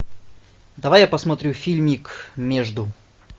давай я посмотрю фильмик между